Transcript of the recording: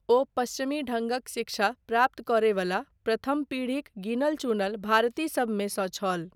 ओ पश्चिमी ढङ्गक शिक्षा प्राप्त करय वला प्रथम पीढ़ीक गिनल चुनल भारतीसबमे सँ छल।